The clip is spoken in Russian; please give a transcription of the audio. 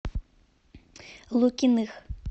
лукиных